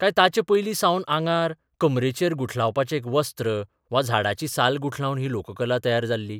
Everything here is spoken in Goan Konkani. काय ताचेपयलीं सावन आंगार कमरेचेर गुठलावपाचें एक वस्त्र वा झाडाची साल गुठलावन ही लोककला तयार जाल्ली?